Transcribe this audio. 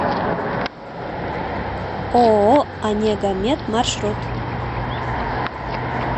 ооо онегомед маршрут